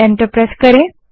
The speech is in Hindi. एंटर दबायें